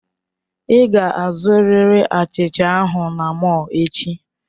Ị ga-azụrịrị achicha ahụ na mọll echi!